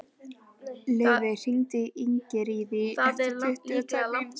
Laufey, hringdu í Ingiríði eftir tuttugu og tvær mínútur.